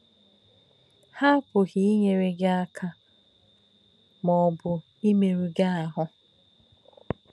Ha àpūghī īnyére gí um àka ma ọ̀bū īmérū gí àhù. um